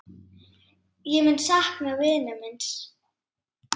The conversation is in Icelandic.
Ég mun sakna vinar míns.